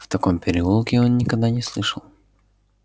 в таком переулке он никогда не слышал